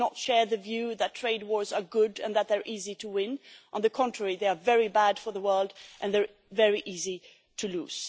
We do not share the view that trade wars are good and that they are easy to win. On the contrary, they are very bad for the world and they are very easy to lose.